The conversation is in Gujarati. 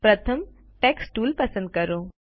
પ્રથમ ટેક્સ્ટ ટુલ પસંદ કરો